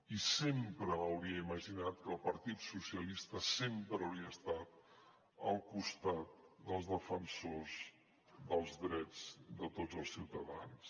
i sempre m’hauria imaginat que el partit dels socialistes sempre hauria estat al costat dels defensors dels drets de tots els ciutadans